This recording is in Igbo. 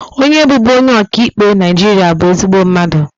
Onye bụbu onye ọka ikpe Naịjirịa bụ ezigbo mmadụ